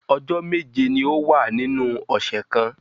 Ọjọ́ méje ni ó wà nínú ọ̀ṣẹ̀ kan